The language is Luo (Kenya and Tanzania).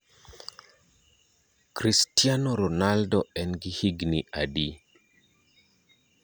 Kristano Ronaldo en gi higni adi